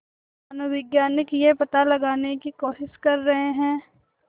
मानवविज्ञानी यह पता लगाने की कोशिश कर रहे हैं